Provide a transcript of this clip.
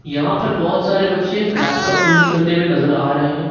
यहां पर बहुत सारे बच्चे लैपटॉप यूज करते हुए नजर आ रहे हैं।